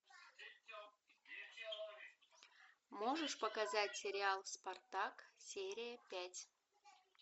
можешь показать сериал спартак серия пять